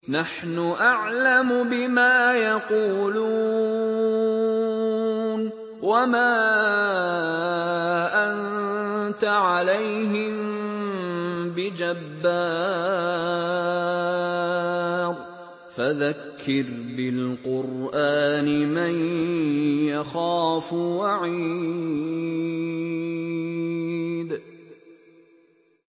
نَّحْنُ أَعْلَمُ بِمَا يَقُولُونَ ۖ وَمَا أَنتَ عَلَيْهِم بِجَبَّارٍ ۖ فَذَكِّرْ بِالْقُرْآنِ مَن يَخَافُ وَعِيدِ